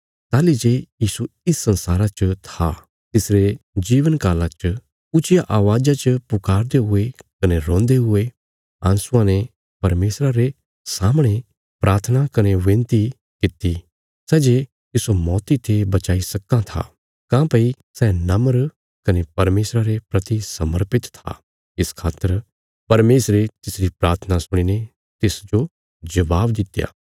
ताहली जे यीशु इस संसारा च था तां तिसरे जीवन काला च ऊच्चिया अवाज़ा च पुकारदे हुये कने रोन्दे हुये आँसुआं ने परमेशरा रे सामणे प्राथना कने विनती कित्ती सै जे तिस्सो मौती ते बचाई सक्कां था काँह्भई सै नम्र कने परमेशरा रे प्रति समर्पित था इस खातर परमेशरे तिसरी प्राथना सुणीने तिसजो जबाब दित्या